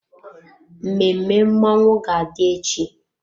Mmemme mmọnwụ ga-adị echi.